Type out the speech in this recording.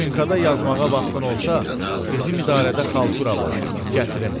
Maşınkada yazmağa vaxtın olsa, bizim idarədə xaltura var, gətirim.